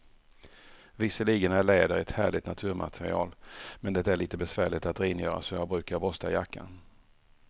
Visserligen är läder ett härligt naturmaterial, men det är lite besvärligt att rengöra, så jag brukar borsta jackan.